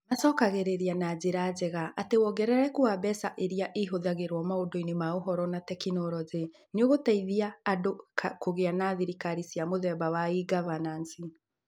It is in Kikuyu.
Macokagĩrĩria na njĩra njega atĩ wongerereku wa mbeca iria ihũthagĩrũo maũndũ-inĩ ma Ũhoro na Teknoroji nĩ ũgũteithia andũ kũgĩa na thirikari cia mũthemba wa e-governance.